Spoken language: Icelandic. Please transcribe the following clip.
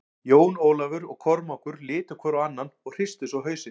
Jón Ólafur og Kormákur litu hvor á annan og hristu svo hausinn.